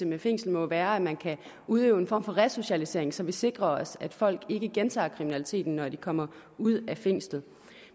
med fængslinger må være at man kan udøve en form for resocialisering så man sikrer sig at folk ikke gentager kriminaliteten når de kommer ud af fængslet